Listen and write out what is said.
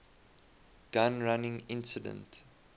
gun running incident